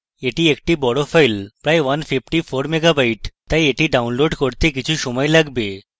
এটি একটি বড় file প্রায় ১৫৪ mega bytes তাই এটি download করার জন্য কিছু সময় লাগবে